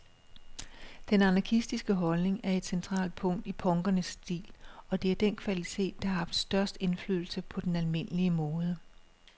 Den anarkistiske holdning er et centralt punkt i punkernes stil, og det er den kvalitet, der har haft størst indflydelse på den almindelige mode.